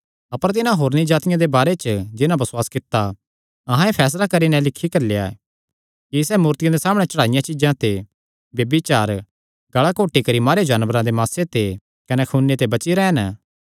अपर तिन्हां होरनी जातिआं दे बारे च जिन्हां बसुआस कित्ता ऐ अहां एह़ फैसला करी नैं लिखी घल्लेया ऐ कि सैह़ मूर्तियां दे सामणै चढ़ाईयां चीज्जां ते ब्यभिचार गल़ा घोटी करी मारेयो जानवरां दे मासे ते कने खूने ते बची रैह़न